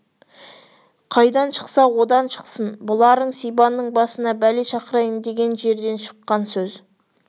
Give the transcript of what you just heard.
қайдан шықса одан шықсын бұларың сибанның басына бәле шақырайын деген жерден шыққан сөз